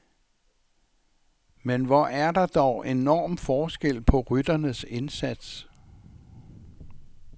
Men hvor er der dog enorm forskel på rytternes indsats.